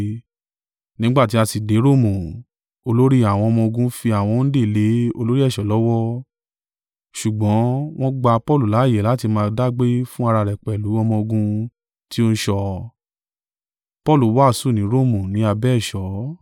Nígbà tí a sì dé Romu, olórí àwọn ọmọ-ogun fi àwọn òǹdè lé olórí ẹ̀ṣọ́ lọ́wọ́, ṣùgbọ́n wọ́n gba Paulu láààyè láti máa dágbé fún ara rẹ̀ pẹ̀lú ọmọ-ogun tí ó ń ṣọ́ ọ.